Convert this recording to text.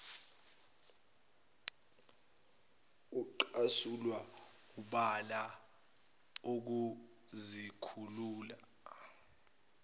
ucasulwa wubala ukuzikhulula